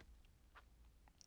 DR2